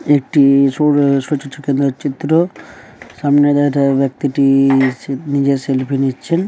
একটি-ই চিত্র। সামনে ওই ব্যক্তিটি-ই নিজের সেলফি নিচ্ছেন--